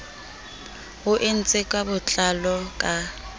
o entswe ka botlalo ka